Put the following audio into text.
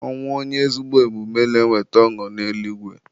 Ọnwụ onye ezigbo omume na-eweta ọṅụ n'eluigwe.